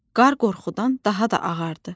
Qar qorxudan daha da ağardı.